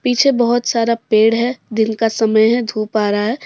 पीछे बहुत सारा पेड़ है दिन का समय है धूप आ रहा है।